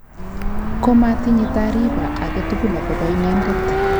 Komaatinye taariba agetugul akobo inendet